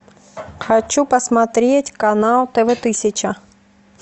хочу посмотреть канал тв тысяча